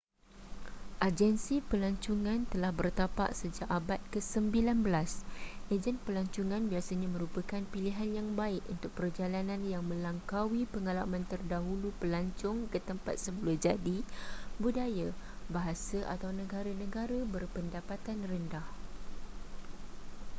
agensi pelancongan telah bertapak sejak abad ke-19 ejen pelancongan biasanya merupakan pilihan yang baik untuk perjalanan yang melangkaui pengalaman terdahulu pelancong ke tempat semula jadi budaya bahasa atau negara-negara berpendapatan rendah